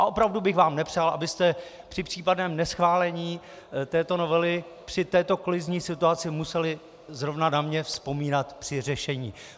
A opravdu bych vám nepřál, abyste při případném neschválení této novely při této kolizní situace museli zrovna na mě vzpomínat při řešení.